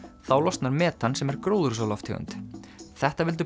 þá losnar metan sem er gróðurhúsalofttegund þetta vildu